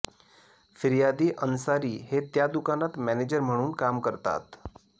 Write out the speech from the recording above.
फिर्यादी अन्सारी हे त्या दुकानात मॅनेजर म्हणून काम करतात